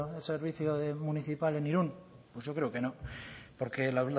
el servicio municipal en irun pues yo creo que no porque la